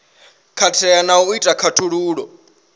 katela na u ita khaṱhululo